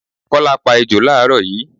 Kọ́lá pá ejò làárọ̀ yii